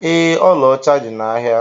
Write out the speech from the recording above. Ee, ọla ọcha dị n'ahịa.